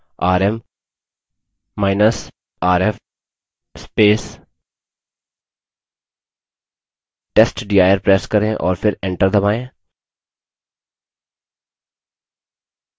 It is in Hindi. rmrf testdir press करें और फिर enter दबायें